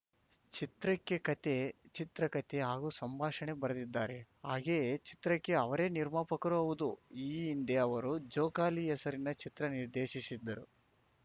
ಚಿತ್ರಕ್ಕೆ ಕತೆ ಚಿತ್ರಕತೆ ಹಾಗೂ ಸಂಭಾಷಣೆ ಬರೆದಿದ್ದಾರೆ ಹಾಗೆಯೇ ಚಿತ್ರಕ್ಕೆ ಅವರೇ ನಿರ್ಮಾಪಕರೂ ಹೌದು ಈ ಹಿಂದೆ ಅವರು ಜೋಕಾಲಿ ಹೆಸರಿನ ಚಿತ್ರ ನಿರ್ದೇಶಿಸಿದ್ದರು